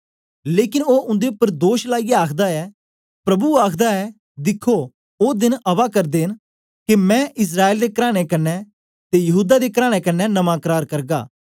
लेकन ओ उन्दे उपर दोष लाईयै आखदा ऐ प्रभु आखदा ऐ दिखो ओ देन आवा करदे न के मैं इस्राएल दे कराने कन्ने ते यहूदा दे कराने कन्ने नमां करार करगा